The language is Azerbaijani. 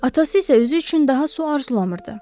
Atası isə özü üçün daha su arzulamırdı.